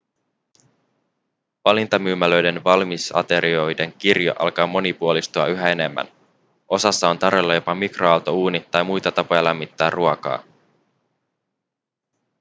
valintamyymälöiden valmisaterioiden kirjo alkaa monipuolistua yhä enemmän osassa on tarjolla jopa mikroaaltouuni tai muita tapoja lämmittää ruokaa